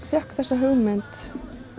fékk þessa hugmynd